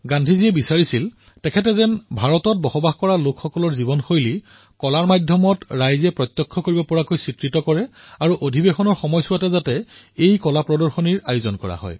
গান্ধীজীয়ে বিচাৰিছিল যে তেওঁ ভাৰতৰ বাসিন্দাসকলৰ জীৱনশৈলী কলাৰ মাধ্যমেৰে দেখুৱাওক আৰু তেওঁৰ সেই কলা শিল্প অধিৱেশনৰ সময়লৈ প্ৰস্তুত হৈ উঠক